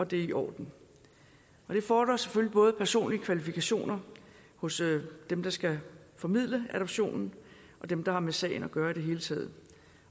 det er i orden det fordrer selvfølgelig både personlige kvalifikationer hos dem der skal formidle adoptionen og dem der har med sagen at gøre i det hele taget